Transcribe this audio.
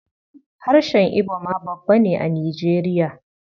Harshen Ibo ma babba ne a Nijeriya.